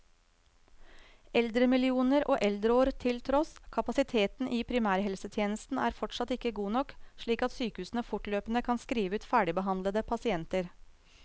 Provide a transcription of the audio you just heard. Eldremillioner og eldreår til tross, kapasiteten i primærhelsetjenesten er fortsatt ikke god nok, slik at sykehusene fortløpende kan skrive ut ferdigbehandlede pasienter.